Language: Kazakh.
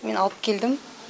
мен алып келдім